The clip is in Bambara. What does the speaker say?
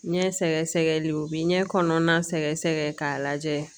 Ɲɛ sɛgɛsɛgɛli o bɛ ɲɛ kɔnɔna sɛgɛsɛgɛ k'a lajɛ